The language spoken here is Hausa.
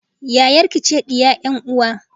Yayarki ce diya 'yan uwa